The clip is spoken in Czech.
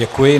Děkuji.